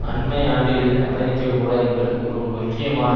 அண்மை ஆண்டுகளில் அமெரிக்க ஊடகங்கள் ஒரு முக்கியமான